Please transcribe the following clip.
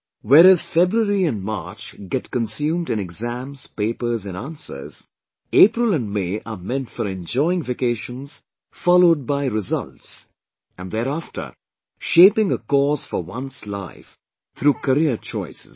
Whereas February and March get consumed in exams, papers and answers, April & May are meant for enjoying vacations, followed by results and thereafter, shaping a course for one's life through career choices